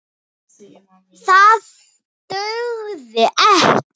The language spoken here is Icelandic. Það dugði ekki.